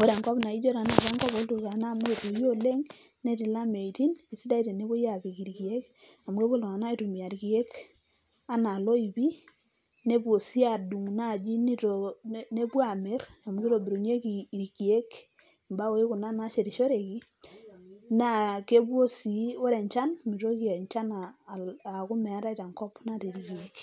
ore enkop naijo tenakata enkop olturkana amu etoyo oleng' netii lameitin, sidai tenepuoi apik irkeek amu epuo iltung'anak aitumia irkeek enaa ioipi, nepou sii adung' naji nepuo amir amu kitobirunyeki irkeek imbaoi kuna nashetishoreki naa kepuo sii ore enchan mitoki enchan aaku meetai tenkop natii irkeek.